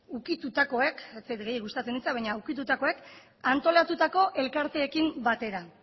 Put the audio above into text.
ukitutakoek ez zait gustatzen hitza baina ukitutakoek antolatutako elkarteekin batera